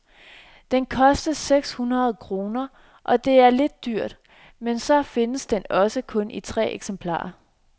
Den kostede seks hundrede kroner og det er lidt dyrt, men så findes den også kun i tre eksemplarer.